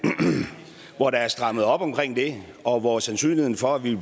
hvor der er strammet op omkring det og hvor sandsynligheden for at vi